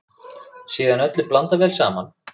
Síðan öllu blandað vel saman.